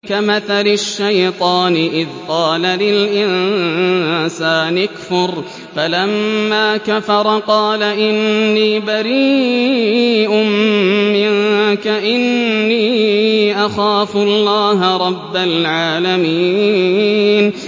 كَمَثَلِ الشَّيْطَانِ إِذْ قَالَ لِلْإِنسَانِ اكْفُرْ فَلَمَّا كَفَرَ قَالَ إِنِّي بَرِيءٌ مِّنكَ إِنِّي أَخَافُ اللَّهَ رَبَّ الْعَالَمِينَ